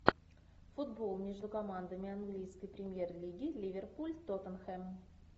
футбол между командами английской премьер лиги ливерпуль тоттенхэм